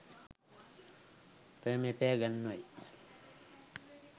ප්‍රේමය පෑ ගන්වයි